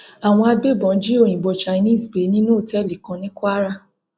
àwọn agbébọn jí òyìnbó chinese gbé nínú òtẹẹlì kan ní kwara